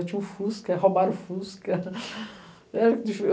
Eu tinha um Fusca, roubaram o Fusca.